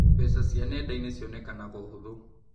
Mbeca cia nenda-inĩ cionekanaga ũhũthũ.